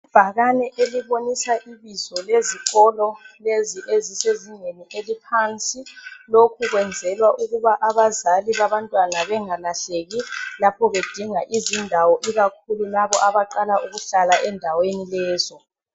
Ibhakane elibonisa ibizo lezikolo lezi ezisezingeni eliphansi. Lokhu kwenzelwa ukuba abazali babantwana bengalahleki lapho bedinga izindawo ikakhulu labo abaqala ukuhlala endaweni lezo.